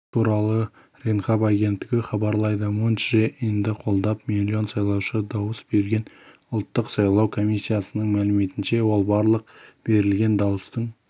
бұл туралы ренхап агенттігі хабарлайды мун чжэ инді қолдап миллион сайлаушы дауыс берген ұлттық сайлау комиссиясының мәліметінше ол барлық беірлген дауыстың